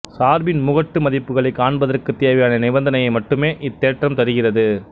சார்பின் முகட்டு மதிப்புகளைக் காண்பதற்குத் தேவையான நிபந்தனையை மட்டுமே இத்தேற்றம் தருகிறது